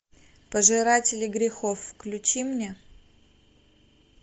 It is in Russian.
пожиратели грехов включи мне